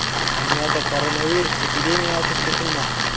Dunyoda koronavirus epidemiyasi chekinmoqda.